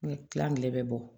Kilan kelen bɛ bɔ